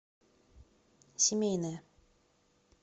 семейная